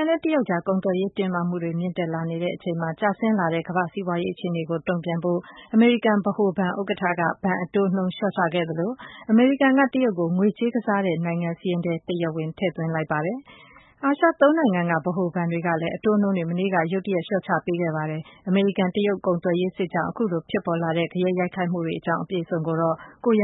န်နဲ့ တရုတ်တို့အကြား ကုန်သွယ်ရေး တင်းမာမှုတွေ မြင့်တက်လာတာနဲ့ ကျဆင်းနေတဲ့ ကမ္ဘာ့ စီးပွားရေး အခြေအနေ ကို တုန့်ပြန်ဖို့ အာရှနိုင်ငံက ဗဟိုဘဏ် ၃ ခုက ဒီတစ်ပတ်ထဲ ဘဏ် အတိုးနှုန်းကို သိသိသာသာကြီး လျှော့ချလိုက်တဲ့အတွက် ကမ္ဘာ့စီးပွားရေး လောကကို တအံ့တသြ ဖြစ်စေခဲ့ပါတယ်။ အပြည့်အစုံကို ကိုရဲ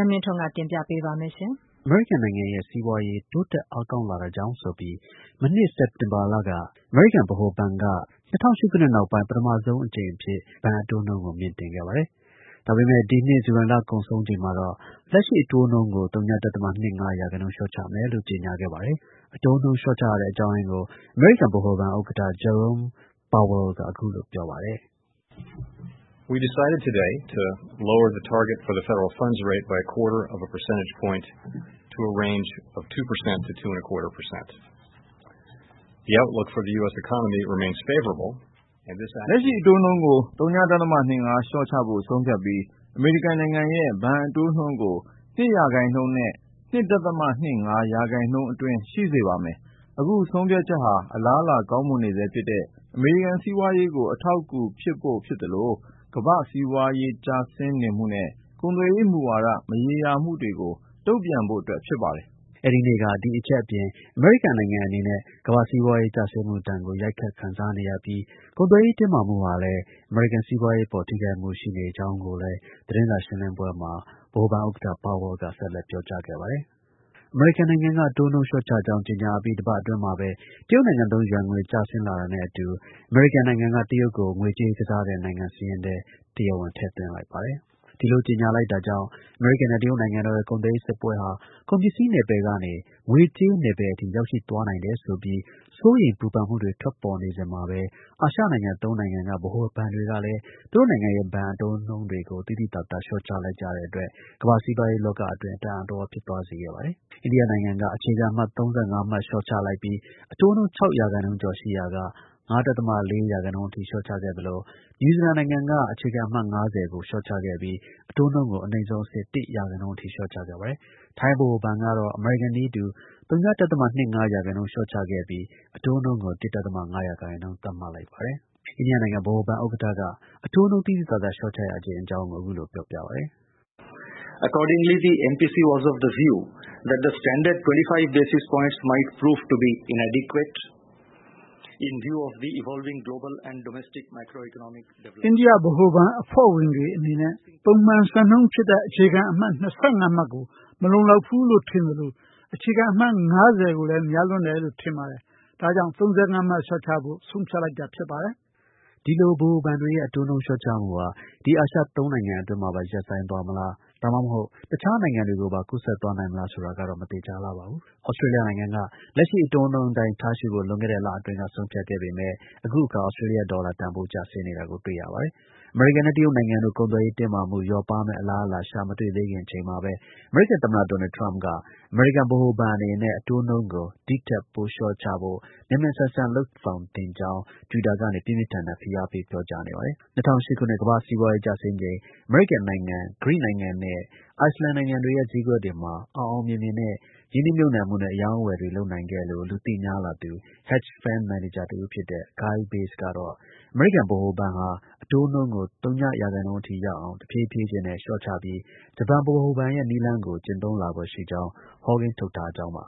မင်းထွန်းက တင်ပြပေးပါမယ်။ အမေရိကန်နိုင်ငံရဲ့ စီးပွားရေး တိုးတက် အားကောင်းလာတာကြောင့် ဆိုပြီး မနှစ် စက်တင်ဘာလက ၂၀၀၈ ခုနှစ်နောက်ပိုင်း ပထမဆုံး အကြိမ် အဖြစ် အမေရိကန် ဗဟိုဘဏ်က အတိုးနှုန်းကို မြှင့်တင်ခဲ့ပါတယ်။ ဒါပေမဲ့ ဒီနှစ် ဇူလိုင်လကုန်ဆုံးချိန်မှာတော့ လက်ရှိ အတိုးနှုန်းကို ဝ.၂၅ ရာခိုင်နှုန်း လျှော့ချမယ်လို့ ကြေညာခဲ့ပါတယ်။ အတိုးနှုန်း လျှော့ချရတဲ့ အကြောင်းရင်းကို အမေရိကန် ဗဟိုဘဏ် ဥက္ကဌ Jarome Powell က အခုလို ပြောပါတယ်။ “ လက်ရှိ အတိုးနှုန်းကို ဝ.၂၅ လျှော့ချဖို့ ဆုံးဖြတ်ပြီး အမေရိကန်နိုင်ငံရဲ့ ဘဏ်အတိုးနှုန်းကို ၂ ရာခိုင်နှုန်းနဲ့ ၂.၂၅ ရာခိုင်နှုန်းအတွင်း ရှိစေ ပါမယ်။ အခုဆုံးဖြတ်ချက်ဟာ အလားအလာ ကောင်းမွန်နေဆဲဖြစ်တဲ့ အမေရိကန် စီးပွားရေးကို အထောက်အကူဖြစ်ဖို့ဖြစ်သလို ကမ္ဘာ့ စီးပွားရေး ကျဆင်းနေမှုနဲ့ ကုန်သွယ်ရေး မူဝါဒ မရေမရာမှုတွေကို တုန့်ပြန်ဖို့အတွက် ဖြစ်ပါတယ်။” အဲဒီနေ့က ဒီ အချက်အပြင် အမေရိကန်နိုင်ငံအနေနဲ့ ကမ္ဘာ့ စီးပွားရေး ကျဆင်းမှုဒဏ်ကို ရိုက်ခတ် ခံစားနေရပြီး ကုန်သွယ်ရေး တင်းမာမှုဟာ လည်း အမေရိကန် စီးပွားရေးအပေါ် ထိခိုက်မှု ရှိနေကြောင်းကိုလည်း အတိုးနှုန်း လျှော့ချကြောင်း ကြေညာအပြီး သတင်းစာ ရှင်းလင်းပွဲမှာ ဗဟိုဘဏ် ဥက္ကဌ Powell က ဆက်လက် ပြောကြားခဲ့ပါတယ်။ အမေရိကန်နိုင်ငံက အတိုးနှုန်း လျှော့ချကြောင်း ကြေညာအပြီး ၁ ပတ်အတွင်းမှာပဲ တရုတ်နိုင်ငံသုံး ယွမ်ငွေ ကျဆင်းလာတာနဲ့အတူ အမေရိကန်နိုင်ငံက တရုတ်နိုင်ငံကို ငွေကြေး ကစားတဲ့နိုင်ငံ စာရင်းထဲ တရားဝင် ထည့်သွင်းလိုက်ပါတယ်။ အမေရိကန်နဲ့ တရုတ်နိုင်ငံတို့ရဲ့ ကုန်သွယ်ရေးစစ်ပွဲဟာ ကုန်ပစ္စည်းနယ်ပယ်ကနေ ငွေကြေးနယ်ပယ်အထိ ရောက်ရှိသွားနိုင်တယ်ဆိုပြီး စိုးရိမ်ပူပန်မှုတွေ ထွက်ပေါ်နေစဉ်မှာပဲ အာရှနိုင်ငံ ၃ နိုင်ငံက ဗဟိုဘဏ်တွေကလည်း သူတို့နိုင်ငံရဲ့ ဘဏ် အတိုးနှုန်းတွေကို သိသိသာသာ လျှော့ချလိုက်ကြတဲ့အတွက် ကမ္ဘာ့ စီးပွားရေးလောကအတွင်း တအံ့တသြ ဖြစ်သွားစေခဲ့ပါတယ်။ အိန္ဒိယနိုင်ငံက အခြေခံအမှတ် ၃၅ မှတ် လျှော့လိုက်ပြီး အတိုးနှုန်း ၆ ရာခိုင်နှုန်းကျော်ရှိရာက ၅.၄ ရာခိုင်နှုန်းအထိ လျှော့ချခဲ့သလို နယူးဇီလန်နိုင်ငံက အခြေခံအမှတ် ၅၀ ကို လျှော့ချပြီး အတိုးနှုန်းကို အနိမ့်ဆုံးအဆင့် ၁ ရာခိုင်နှုန်းအထိ လျှော့ချခဲ့ပါတယ်။ ထိုင်း ဗဟိုဘဏ်ကတော့ အမေရိကန်နည်းတူ ဝ.၂၅ ရာခိုင်နှုန်း လျှောချခဲ့ပြီး အတိုးနှုန်းကို ၁.၅ ရာခိုင်နှုန်း သတ်မှတ်လိုက်ပါတယ်။ အိန္ဒိယနိုင်ငံ ဗဟိုဘဏ် ဥက္ကက အတိုးနှုန်း သိသိသာသာ လျှော့ချရခြင်းအကြောင်းကို အခုလို ပြောပါတယ်။ “ အိန္ဒိယ ဗဟိုဘဏ် အဖွဲ့ဝင်တွေအနေနဲ့ ပုံမှန် စံနှုန်းဖြစ်တဲ့ အခြေခံအမှတ် ၂၅မှတ်ကို မလုံလောက်ဘူးလို့ ထင်သလို အခြေခံအမှတ် ၅၀ ကိုလည်း များလွန်းတယ်လို့ ထင်ပါတယ်။ ဒါကြောင့် ၃၅ မှတ် လျှော့ချလို့ ဆုံးဖြတ်လိုက်တာ ဖြစ်ပါတယ်။ ” ဒီလို ဗဟိုဘဏ်တွေရဲ့ အတိုးနှုန်း လျှော့ချမှုဟာ ဒီ အာရှ ၃ နိုင်ငံအတွင်းမှာပဲ ရပ်ဆိုင်းသွားမလား၊ တစ်ခြားနိုင်ငံတွေကိုပါ ကူးစက်နိုင်မလား ဆိုတာကတော့ မသေချာလှပါဘူး။ သြစတြေးလျနိုင်ငံ လက်ရှိ အတိုးနှုန်းအတိုင်း ထားရှိဖို့ လွန်ခဲ့တဲ့ လအတွင်းက ဆုံးဖြတ်ခဲ့ပေမဲ့ အခုအခါ သြစတြေးလျ ဒေါ်လာ တန်ဖိုးကျဆင်းနေတာကို တွေ့ရပါတယ်။ အမေရိကန်နဲ့ တရုတ်နိုင်ငံတို့ ကုန်သွယ်ရေး တင်းမာမှု လျော့ပါးမယ့် အလားအလာ ရှာမတွေ့ခင်သေးချိုန်မှာပဲ အမေရိကန် သမ္မတ ဒေါ်နယ်ထရမ့်က အမေရိကန် ဗဟိုဘဏ်အနေနဲ့နဲ့ အတိုးနှုန်းကို ဒီ့ထက် ပို လျှော့ဖို့ မြန်မြန် ဆန်ဆန်လုပ်ဆောင်သင့်ကြောင်း Twitter ကနေ ပြင်းပြင်းထန်ထန် ဖိအားပေး ပြောကြားနေပါတယ်။ ၂၀၀၈ ခှနှစ် ကမ္ဘာ့ စီးပွားရေး ကျဆင်းချိန် အမေရိကန်၊ ဂရိနဲ့ အိုက်စလန်နိုင်ငံတွေရဲ့ ဈေးကွက်တွေမှာ အောင်အောင်မြင်မြင်နဲ့ ရင်းနှီး မြှုပ်နှံမှု နဲ့ အရောင်းအဝယ် လုပ်နိုင်ခဲ့လို့ လူသိများလာသူ Hedge fund manager တစ်ဦးဖြစ်တဲ့ Kyle Bass ကတော့ အမေရိကန် ဗဟိုဘဏ် ဟာ အတိုးနှုန်းကို၀ ရာခိုင်နှုန်းအထိ ရောက်အောင် တစ်ဖြည်းဖြည်းချင်းနဲ့ လျျှော့ချပြီး ဂျပန်ဗဟိုဘဏ်ရဲ့ နည်းလမ်းကို ကျင့်သုံးလာဖွယ် ရှိကြောင်း ဟောကိန်း ထုတ်ထားကြောင်းပါ